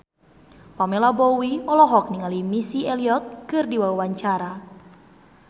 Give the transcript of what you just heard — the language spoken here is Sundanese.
Pamela Bowie olohok ningali Missy Elliott keur diwawancara